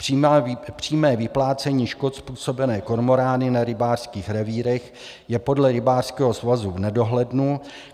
Přímé vyplácení škod způsobené kormorány na rybářských revírech je podle rybářského svazu v nedohlednu.